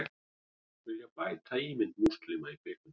Vilja bæta ímynd múslima í kvikmyndum